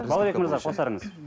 балғабек мырза қосарыңыз